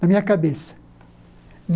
Na minha cabeça.